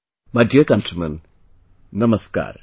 My dear countrymen, Namaskar